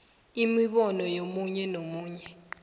imibono yomunye umuntu